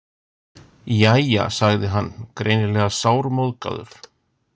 Jæja, sagði hann, greinilega sármóðgaður.